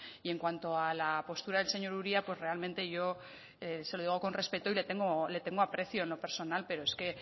y en cuanto a la postura del señor uria pues realmente yo se lo digo con respeto y le tengo aprecio en lo personal pero es que